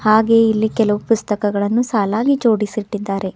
ಹಾಗೆ ಇಲ್ಲಿ ಕೆಲವು ಪುಸ್ತಕಗಳನ್ನು ಸಾಲಾಗಿ ಜೋಡಿಸಿಟ್ಟಿದ್ದಾರೆ.